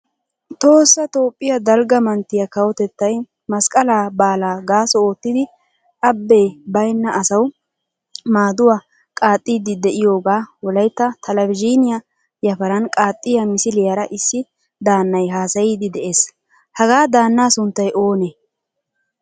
Tohossa toophphiya dalgga manttiya kawotettay masqaqala baalaa gaaso oottidi abbe bayna asawu maaduwa qaaxidi deiyoga wolaytta talavzhiniya yafaran qaaxiya misliyara issi daannay haasayidi de"ees. Hagaa daanna sunttay oonee?